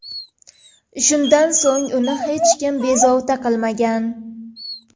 Shundan so‘ng uni hech kim bezovta qilmagan.